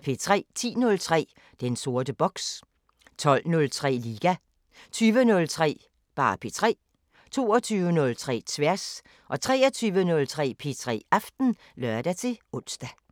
10:03: Den sorte boks 12:03: Liga 20:03: P3 22:03: Tværs 23:03: P3 Aften (søn-ons)